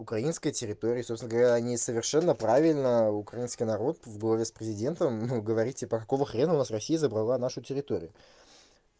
украинская территория собственно говоря они совершенно правильно украинский народ в главе с президентом ну говорить типа какого хрена у вас россии забрала нашу территории